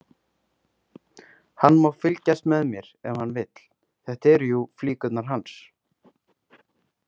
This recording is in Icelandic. Hann má fylgjast með mér ef hann vill, þetta eru jú flíkurnar hans.